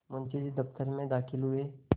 मुंशी जी दफ्तर में दाखिल हुए